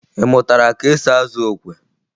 Ị mụtara ka esi azụ okwe?